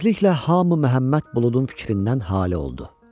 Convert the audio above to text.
Tezliklə hamı Məhəmməd Buludun fikrindən hali oldu.